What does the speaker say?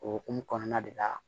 O hukumu kɔnɔna de la